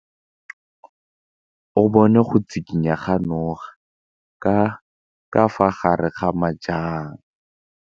O bone go tshikinya ga noga ka fa gare ga majang.